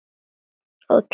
Og á túninu.